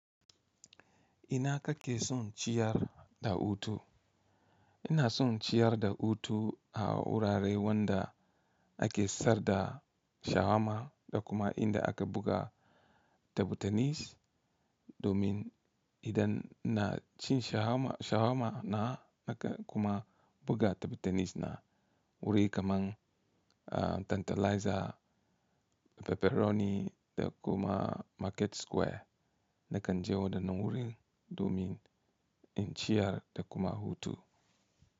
Ina kake son ciyar da hutu? Ina son ciyar da hutu a wurare wanda ake sar da shawarma da kuma inda aka buga tebur tenis domin idan na cin shawarma shawarma na, naka kuma buga tebur tenis na, wuri kaman Tantalizer, Pepperoni da kuma Market Square nakan je wadannan wurin domin in ciyar da kuma hutu.